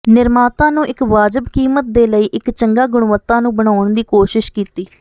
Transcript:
ਨਿਰਮਾਤਾ ਨੂੰ ਇੱਕ ਵਾਜਬ ਕੀਮਤ ਦੇ ਲਈ ਇੱਕ ਚੰਗਾ ਗੁਣਵੱਤਾ ਨੂੰ ਬਣਾਉਣ ਦੀ ਕੋਸ਼ਿਸ਼ ਕੀਤੀ